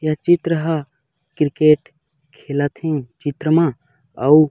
यह चित्र ह क्रिकेट खेलत हे चित्र म अऊ--